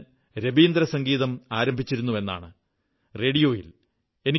30 ന് രവീന്ദ്രസംഗീതം ആരംഭിച്ചിരുന്നുവെന്നാണ് റേഡിയോയിൽ